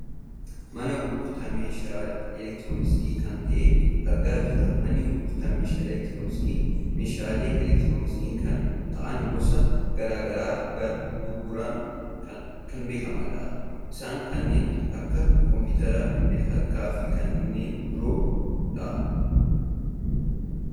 Mana gurgurtaa meeshaa elektirooniksi kan ta'e argaa jirra. Manni gurgurtaa meeshaalee elektirooniksi, meeshaalee elektirooniksi kan ta'an gosoota gara garaa gurguruun kan beekkamudha. Isaanis kanneen akka kompuuteraa, bilbila harkaa fi kanneen biroodha.